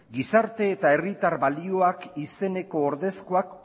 gizarte eta herritar balioak izeneko ordezkoak